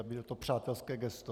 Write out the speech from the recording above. A bylo to přátelské gesto.